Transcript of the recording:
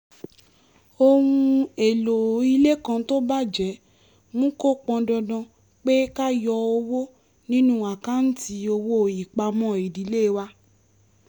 ohun-èlò ilé kan tó bàjẹ́ mú kó pọn dandan pé ká yọ owó nínú àkáǹtì owó ìpamọ́ ìdílé wa